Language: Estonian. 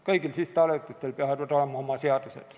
Kõigil sihtasutustel peavad olema oma seadused.